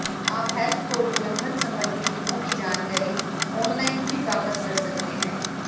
आप health code उल्लंघन संबंधी नियमों की जानकारी ऑनलाइन भी प्राप्त कर सकते हैं